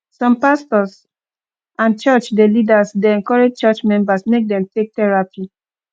some pastors and church dey leaders dey encourage church members make dem take therapy